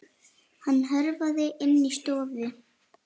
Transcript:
Hann hörfaði inn í stofu.